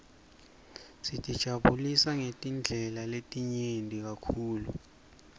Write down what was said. sitijabulisa ngetindlela letinyenti kakhulu